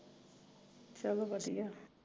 ਚਲੋ ਵਧੀਆ